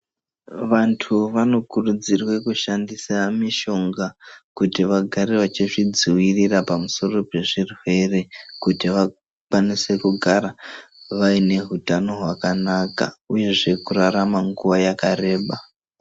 Vantu vanokurudzirwe kushandisa mishonga kuti vagare vachizvidziwirira pamusoro pezvirwere kuti vakwanise kugara vaine utano hwakanaka uyezve kurarama nguwa yakareba.